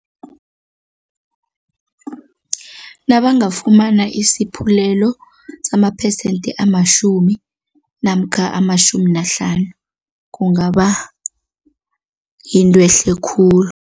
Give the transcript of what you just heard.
Nabangafumana isaphulelo samaphesente amatjhumi namkha amatjhumi nahlanu, kungaba yinto ehle khulu.